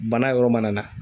Bana yɔrɔ mana na.